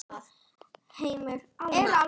Heimir: Eru álver liðin tíð?